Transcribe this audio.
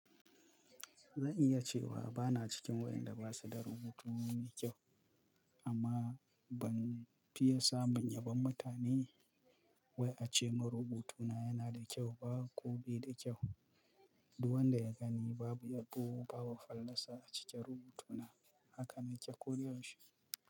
Zan iya cewa bana cikin waɗanda ba su da rubutu mai kyau amma ban fiye samun yabon mutane wai a ce mun rubutuna yana da kyau ba ko bai da kyau. Duk wanda ya gani babu yabo, babu fallasa a cikin rubutuna. Haka na ce ko yaushe.